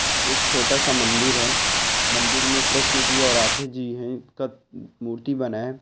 एक छोटा सा मंदिर है मंदिर में कृष्ण जी और राधे जी है का म-मूर्ति बनाया है।